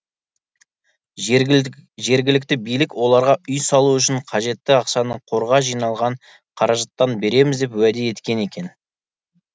жергілікті билік оларға үй салу үшін қажетті ақшаны қорға жиналған қаражаттан береміз деп уәде еткен екен